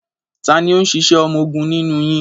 Ta ni ó ń ṣiṣẹ́ ọmọgun nínú yín?